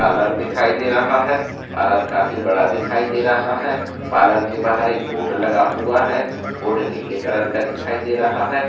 Parlour दिखाई दे रहा है पार्लर काफी बड़ा दिखाई दे रहा है पार्लर के बाहर एक बोर्ड लगा हुआ है बोर्ड नीले कलर का दिखाई दे रहा है।